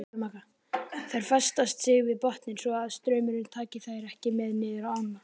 Þær festa sig við botninn svo að straumurinn taki þær ekki með niður ána.